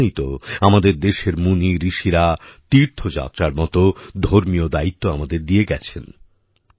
সেজন্যই তো আমাদের দেশের মুনিঋষিরা তীর্থযাত্রার মত ধর্মীয়দায়িত্ব আমাদের দিয়ে গেছেন